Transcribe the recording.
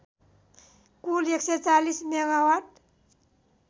Kul १४० megawatt